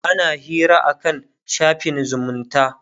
ana Hira akan shafin zumunta